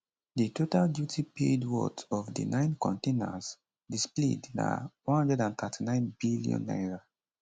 di total duty paid worth of di nine containers displayed na n139 billion